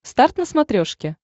старт на смотрешке